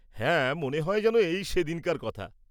হ্যাঁ মনে হয় যেন এই সেদিনকার কথা।